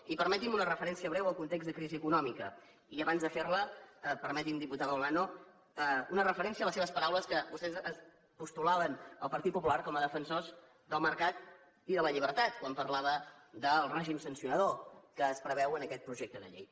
i permetin me una referència breu al context de crisi econòmica i abans de fer la permeti’m diputada olano una referència a les seves paraules que vostès postulaven el partit popular com a defensors del mercat i de la llibertat quan parlava del règim sancionador que es preveu en aquest projecte de llei